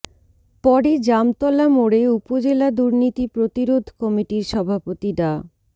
পরে জামতলা মোড়ে উপজেলা দুর্নীতি প্রতিরোধ কমিটির সভাপতি ডা